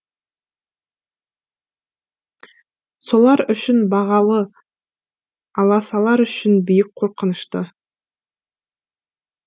солар үшін бағалы аласалар үшін биік қорқынышты